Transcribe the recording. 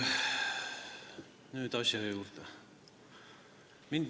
Nüüd asja juurde.